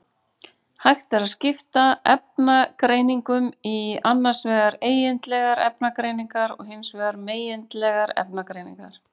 Hægt er að skipta efnagreiningum í annars vegar eigindlegar efnagreiningar og hins vegar megindlegar efnagreiningar.